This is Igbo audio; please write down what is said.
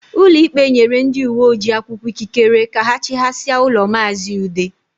Ụlọikpe nyere ndị uwe ojii akwụkwọ ikikere ka ha chịghasịa ụlọ maazi Ude